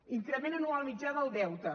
increment anual mitjà del deute